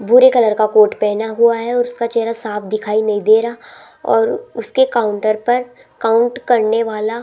भूरे कलर का कोर्ट पहना हुआ है और उसका चेहरा साफ दिखाई नहीं दे रहा और उसके काउंटर पर काउंट करने वाला --